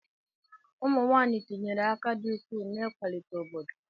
Ụmụnwaanyị tinyere aka dị ukwuu n'ịkwalite obodo.